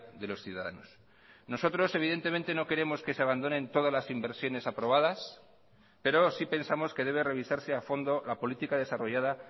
de los ciudadanos nosotros evidentemente no queremos que se abandonen todas las inversiones aprobadas pero sí pensamos que debe revisarse a fondo la política desarrollada